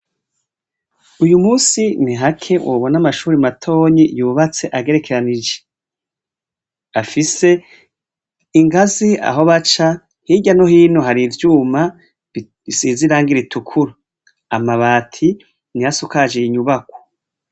Uyu munsi ni hake wobona amashure matoyi agerekeranije afise ingazi aho baca, hirya no hino hari ivyuma bisize irangi rirukura, amabati niyo asakaje iyo nyubakwa.